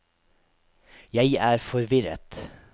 jeg er forvirret